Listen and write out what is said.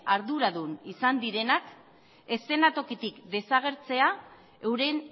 arduradun izan direnak eszena tokitik desagertzea euren